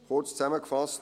Kurz zusammengefasst: